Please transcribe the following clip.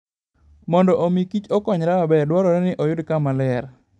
Mondo omi kich okonyre maber, dwarore ni oyud kama ler.